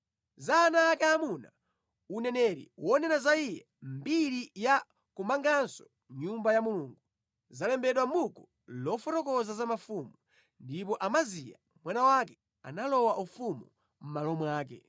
Za ana ake aamuna, uneneri wonena za iye, mbiri ya kumanganso Nyumba ya Mulungu, zalembedwa mʼbuku lofotokoza za mafumu. Ndipo Amaziya mwana wake analowa ufumu mʼmalo mwake.